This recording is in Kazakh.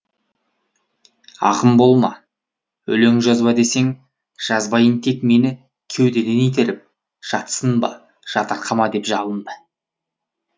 ақын болма өлең жазба десең жазбайын тек мені кеудеден итеріп жатсынба жатырқама деп жалынды